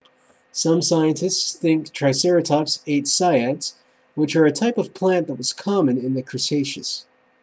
some scientists think triceratops ate cycads which are a type of plant that was common in the cretaceous